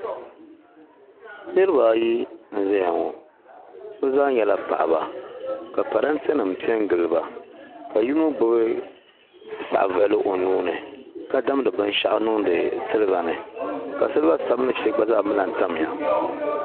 Niriba ayi n zaya ŋɔ bi zaa nyɛla paɣaba ka paranti nima piɛ n giliba ka yino gbubi saɣavuɣili o nuuni ka damdi binshaɣu niŋdi siliba ni ka siliba sabinli sheli gba zaa mi lan tamya.